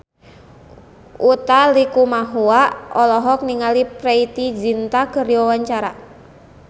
Utha Likumahua olohok ningali Preity Zinta keur diwawancara